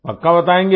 पक्का बताएँगे